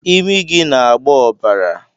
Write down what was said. Imi gị na-agba ọbara